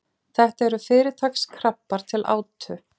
þetta eru fyrirtaks krabbar til átu